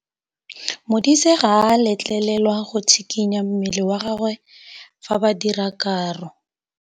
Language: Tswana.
Modise ga a letlelelwa go tshikinya mmele wa gagwe fa ba dira karô.